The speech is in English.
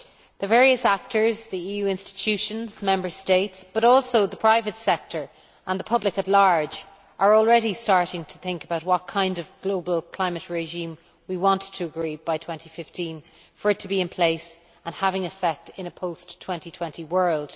The various actors, the EU institutions, Member States, but also the private sector and the public at large, are already starting to think about what kind of global climate regime we want to agree by 2015 in order for it to be in place and taking effect in a post 2020 world.